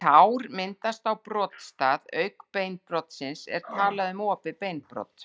Ef sár myndast á brotstað auk beinbrotsins er talað um opið beinbrot.